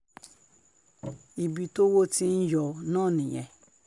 ibi tọ́wọ́ ti ń yọ náà nìyẹn